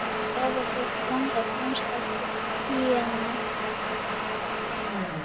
Áður hét landið Franska Gínea.